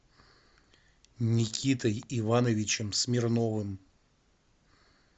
никитой ивановичем смирновым